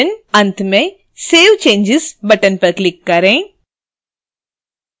अंत में save changes button पर click करें